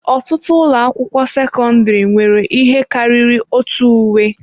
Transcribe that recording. Ọtụtụ ụlọ akwụkwọ sekọndrị nwere ihe karịrị otu uwe.